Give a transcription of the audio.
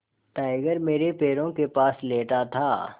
tiger मेरे पैरों के पास लेटा था